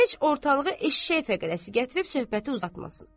Heç ortalığa eşşək fəqərəsi gətirib söhbəti uzatmasın.